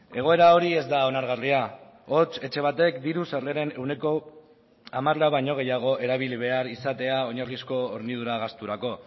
egoera hori ez da onargarria hots etxe batek diru sarreren ehuneko hamara baino gehiago erabili behar izatea oinarrizko hornidura gasturako